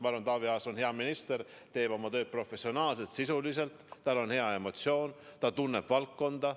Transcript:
Ma arvan, et Taavi Aas on hea minister, ta teeb oma tööd professionaalselt, sisuliselt, tal on hea emotsioon, ta tunneb valdkonda.